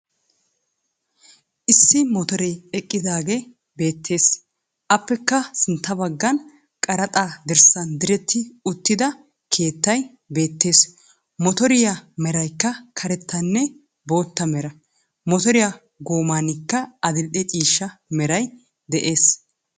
Issi moottere eqqidaage beettes. appekka sintta baggan qarxxa dirssan diretti uttida keettay beettes. mottoriyaa meraykka karettanne bootta mera. Motoriyaa goommanikka adil"e ciishsha meray des